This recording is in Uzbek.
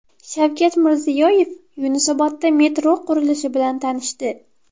Shavkat Mirziyoyev Yunusobodda metro qurilishi bilan tanishdi.